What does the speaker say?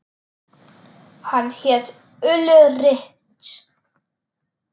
Hann hét Ulrich.